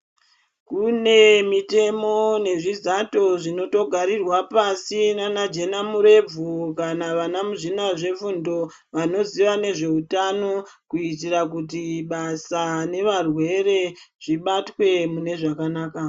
Kune mitemo nezvizato zvinogarirwa pashi nana Jena murebvu kana muzvina zvefundo vanoziya nezvehutano kuitira kuti basa nevarwere zvibatwe mune zvakanaka.